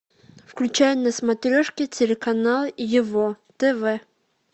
включай на смотрешке телеканал его тв